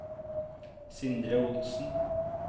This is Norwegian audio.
Sindre Olsen